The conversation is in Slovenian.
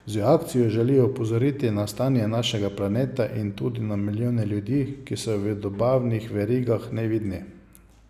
Z akcijo želijo opozoriti na stanje našega planeta in tudi na milijone ljudi, ki so v dobavnih verigah nevidni.